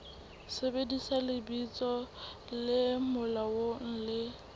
sebedisa lebitso le molaong le